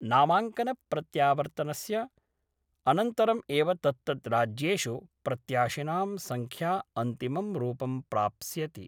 नामांकन प्रत्यावर्तनस्य अनन्तरम् एव तत्तद् राज्येषु प्रत्याशिनां संख्या अंतिमं रूपं प्राप्स्यति।